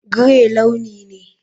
Grey launi ne.